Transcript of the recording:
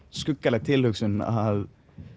skuggaleg tilhugsun að